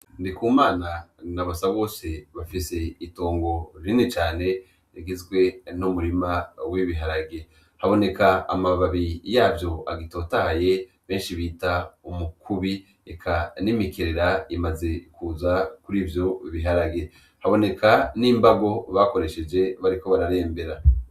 Ndikumana na basabose bafise itongo rinini cane rigizwe n'umurima w'ibiharage, haboneka amababi yavyo agitotaye benshi bita umukubi eka n'imikerera imaze kuza kurivyo biharage haboneka n'imbago bakoresheje bariko bararembera.